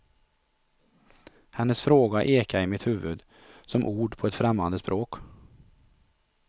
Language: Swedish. Hennes fråga ekade i mitt huvud, som ord på ett främmande språk.